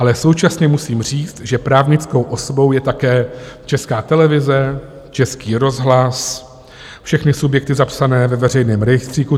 Ale současně musím říct, že právnickou osobou je také Česká televize, Český rozhlas, všechny subjekty zapsané ve veřejném rejstříku.